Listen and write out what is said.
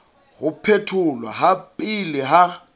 ho phetholwa ha pele ha